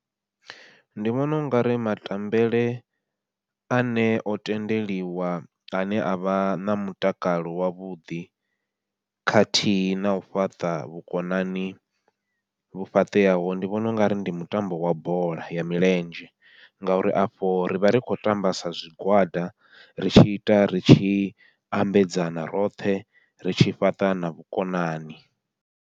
Ndi vhona ungari matambele ane o tendeliwa ane avha na mutakalo wavhuḓi khathihi nau fhaṱa vhukonani vhu fhaṱeaho, ndi vhona ungari ndi mutambo wa bola ya milenzhe, ngauri afho rivha ri khou tamba sa zwigwada ri tshi ita ri tshi ambedzana roṱhe ri tshi fhaṱa na vhukonani.